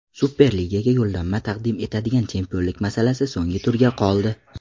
Superligaga yo‘llanma taqdim etadigan chempionlik masalasi so‘nggi turga qoldi.